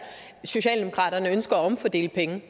socialdemokraterne ønsker at omfordele pengene